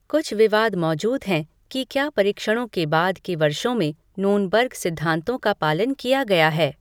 कुछ विवाद मौजूद हैं कि क्या परीक्षणों के बाद के वर्षों में नूर्नबर्ग सिद्धांतों का पालन किया गया है।